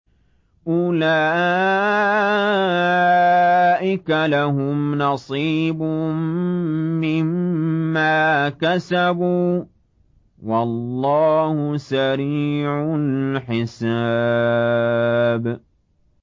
أُولَٰئِكَ لَهُمْ نَصِيبٌ مِّمَّا كَسَبُوا ۚ وَاللَّهُ سَرِيعُ الْحِسَابِ